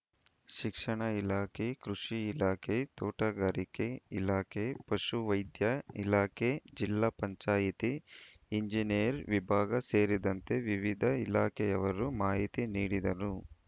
ಶಿಕ್ಷಣ ಇಲಾಖೆ ಕೃಷಿ ಇಲಾಖೆ ತೋಟಗಾರಿಕೆ ಇಲಾಖೆ ಪಶು ವೈದ್ಯ ಇಲಾಖೆ ಜಿಲ್ಲಾ ಪಂಚಾಯಿತಿ ಎಂಜಿನಿಯರ್‌ ವಿಭಾಗ ಸೇರಿದಂತೆ ವಿವಿಧ ಇಲಾಖೆಯವರು ಮಾಹಿತಿ ನೀಡಿದರು